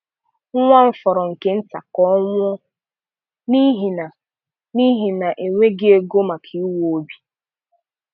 Nwa m fọrọ nke nta ka ọ nwụọ n'ihi na n'ihi na enweghị ego maka ịwa obi.